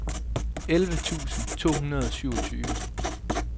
elleve tusind to hundrede og syvogtyve